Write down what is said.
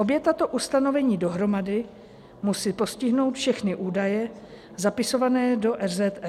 Obě tato ustanovení dohromady musí postihnout všechny údaje zapisované do RZE.